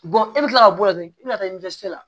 e bɛ kila ka bɔ o la dɔrɔn i bɛ ka taa